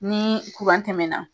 Ni tɛmɛna